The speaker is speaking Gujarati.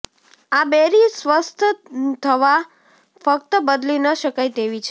આ બેરી સ્વસ્થ થવા ફક્ત બદલી ન શકાય તેવી છે